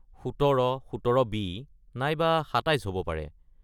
১৭, ১৭ B নাইবা ২৭ হ’ব পাৰে।